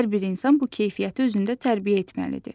Hər bir insan bu keyfiyyəti özündə tərbiyə etməlidir.